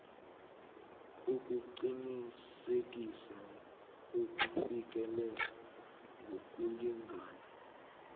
ukuqinisekisa ukufikelela ngokulingana